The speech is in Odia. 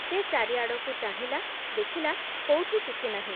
ସେ ଚାରିଆଡ଼କୁ ଚାହିଁଲା, ଦେଖିଲା, କୋଉଠି କିଛି ନାହିଁ ।